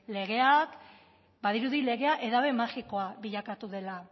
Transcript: legea badirudi legea edabe magikoa bilakatu dela